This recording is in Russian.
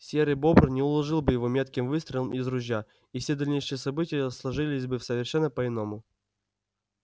серый бобр не уложил бы его метким выстрелом из ружья и все дальнейшие события сложились бы совершенно по иному